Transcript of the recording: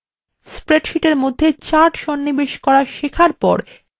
স্প্রেডশীটের মধ্যে charts সন্নিবেশ করা শেখার পর